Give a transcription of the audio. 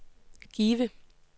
Give